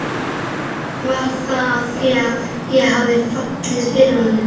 Var það af því að ég hafði fallið fyrir honum?